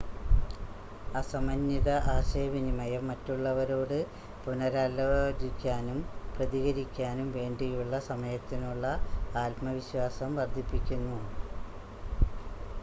അസമന്വിത ആശയവിനിമയം മറ്റുള്ളവരോട് പുനരാലോചിക്കാനും പ്രതികരിക്കാനും വേണ്ടിയുള്ള സമയത്തിനുള്ള ആത്മവിശ്വാസം വർദ്ധിപ്പിക്കുന്നു